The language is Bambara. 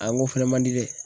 A n ko fɛnɛ man di dɛ.